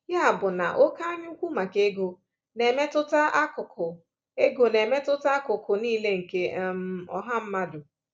Ya bụ na oké anyaukwu maka ego na-emetụta akụkụ ego na-emetụta akụkụ niile nke um ọha mmadụ.